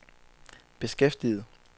beskæftiget